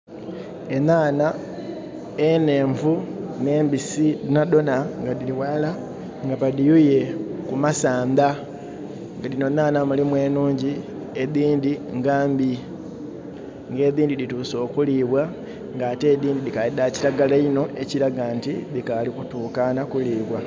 Enanha enhenvu n'embisi dhonadhona nga dhiri ghalala nga badhiyuye ku masandha, nga dhino nhanha mulimu enhungi, edhindhi nga mbi. Nga edhindhi dhituse okulibwa, nga ate edhindhi dhikali dha kiragala inho ekiraga nti dhikali kutukana kulibwa.